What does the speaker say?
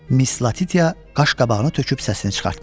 Miss Latitia qaşqabağını töküb səsini çıxartmadı.